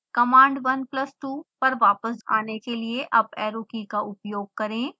command 1 plus 2 पर वापस आने के लिए अप ऐरो की का उपयोग करें